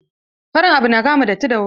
Farin abu na kama datti da wuri.